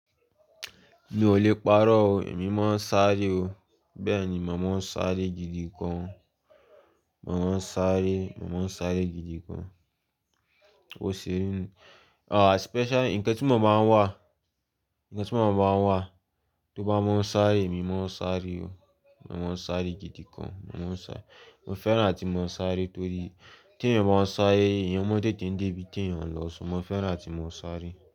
Mi ò lè parọ́ o, èmi máa ń sáré o. Bẹ́ẹ̀ ni, màá máa ń sáré gidi gan. Màá máa ń sáré, màá máa ń sáré gidi gan. Ó ṣé, ah special nǹkan tí màá máa ń wà, nǹkan tí màá máa ń wà, tó bá máa ń sáré èmi máa ń sáré o. Màá máa ń sáré gidi gan, màá máa ń sáré. Mo fẹ́ràn atí mo ń sáré torí tí èeyàn bá ń sáré èèyàn mọ tété dé ibi tí èeyàn lọ, so mo fẹ́ràn atí mo ń sáré.